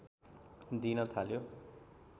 दिन थाल्यो